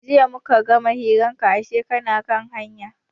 Jiya muka gama hirar ka ashe kana hanya.